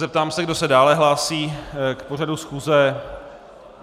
Zeptám se, kdo se dále hlásí k pořadu schůze.